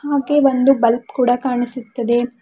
ಹಾಗೆ ಒಂದು ಬಲ್ಪ್ ಕೂಡ ಕಾಣಿಸುತ್ತದೆ.